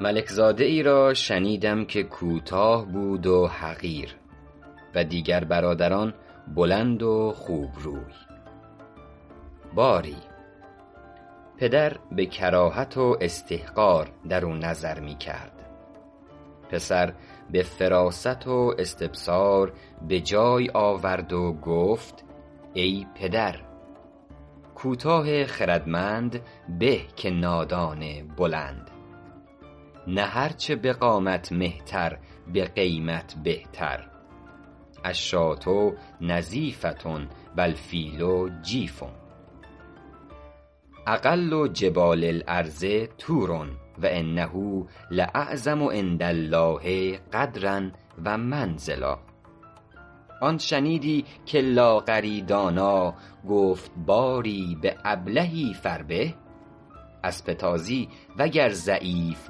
ملک زاده ای را شنیدم که کوتاه بود و حقیر و دیگر برادران بلند و خوب روی باری پدر به کراهت و استحقار درو نظر می کرد پسر به فراست و استبصار به جای آورد و گفت ای پدر کوتاه خردمند به که نادان بلند نه هر چه به قامت مهتر به قیمت بهتر الشاة نظیفة و الفیل جیفة اقل جبال الارض طور و انه لاعظم عندالله قدرا و منزلا آن شنیدی که لاغری دانا گفت باری به ابلهی فربه اسب تازی وگر ضعیف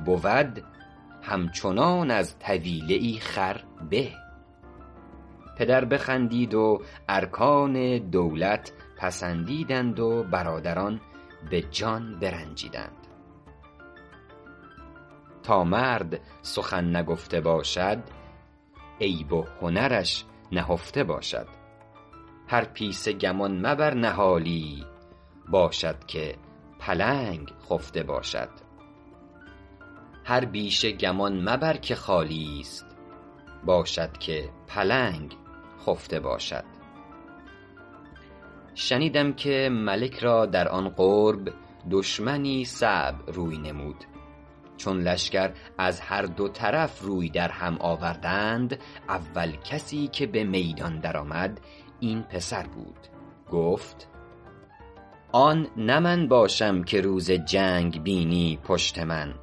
بود همچنان از طویله ای خر به پدر بخندید و ارکان دولت پسندیدند و برادران به جان برنجیدند تا مرد سخن نگفته باشد عیب و هنرش نهفته باشد هر پیسه گمان مبر نهالی باشد که پلنگ خفته باشد شنیدم که ملک را در آن قرب دشمنی صعب روی نمود چون لشکر از هر دو طرف روی در هم آوردند اول کسی که به میدان در آمد این پسر بود گفت آن نه من باشم که روز جنگ بینی پشت من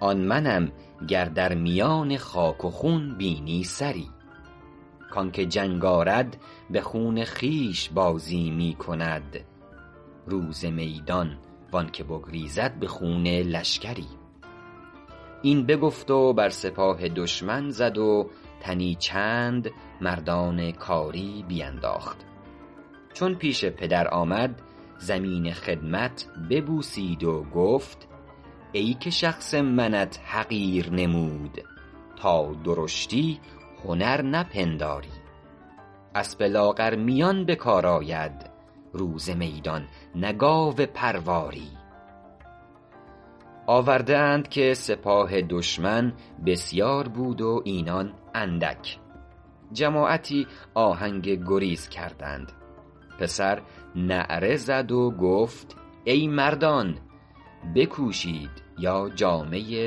آن منم گر در میان خاک و خون بینی سری کانکه جنگ آرد به خون خویش بازی می کند روز میدان و آن که بگریزد به خون لشکری این بگفت و بر سپاه دشمن زد و تنی چند مردان کاری بینداخت چون پیش پدر آمد زمین خدمت ببوسید و گفت ای که شخص منت حقیر نمود تا درشتی هنر نپنداری اسب لاغرمیان به کار آید روز میدان نه گاو پرواری آورده اند که سپاه دشمن بسیار بود و اینان اندک جماعتی آهنگ گریز کردند پسر نعره زد و گفت ای مردان بکوشید یا جامه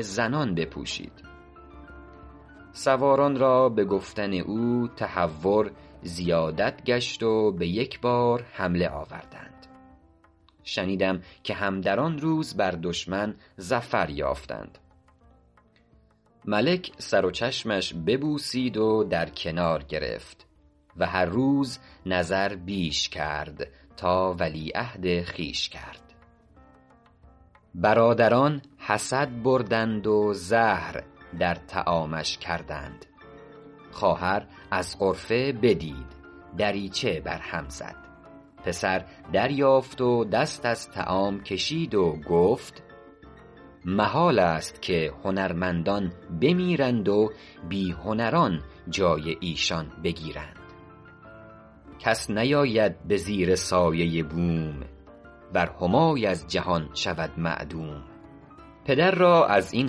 زنان بپوشید سواران را به گفتن او تهور زیادت گشت و به یک بار حمله آوردند شنیدم که هم در آن روز بر دشمن ظفر یافتند ملک سر و چشمش ببوسید و در کنار گرفت و هر روز نظر بیش کرد تا ولیعهد خویش کرد برادران حسد بردند و زهر در طعامش کردند خواهر از غرفه بدید دریچه بر هم زد پسر دریافت و دست از طعام کشید و گفت محالست که هنرمندان بمیرند و بی هنران جای ایشان بگیرند کس نیاید به زیر سایه بوم ور همای از جهان شود معدوم پدر را از این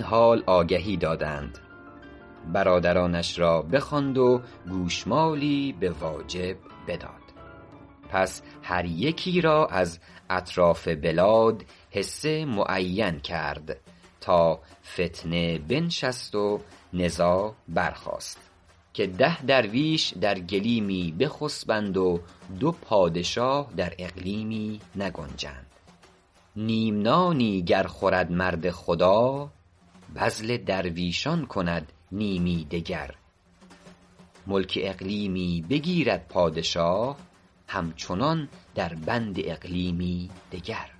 حال آگهی دادند برادرانش را بخواند و گوشمالی به واجب بداد پس هر یکی را از اطراف بلاد حصه معین کرد تا فتنه بنشست و نزاع برخاست که ده درویش در گلیمی بخسبند و دو پادشاه در اقلیمی نگنجند نیم نانی گر خورد مرد خدا بذل درویشان کند نیمی دگر ملک اقلیمی بگیرد پادشاه همچنان در بند اقلیمی دگر